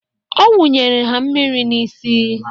Ọ wunyere ha mmiri n'isi.